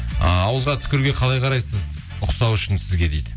ыыы ауызға түкіруге қалай қарайсыз ұқсау үшін сізге дейді